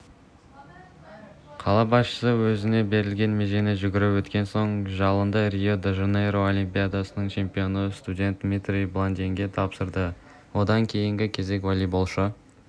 қала басшысы өзіне берілген межені жүгіріп өткен соң жалынды рио-де жанейро олимпиадасының чемпионы студент дмитрий баландинге тапсырды одан кейінгі кезек волейболшы